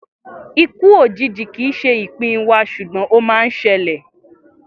Ikú òjijì kìí ṣe ìpín wa, sùgbón ọ man ṣẹlẹ̀